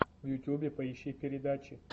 в ютьюбе поищи передачи